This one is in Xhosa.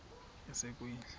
yasekwindla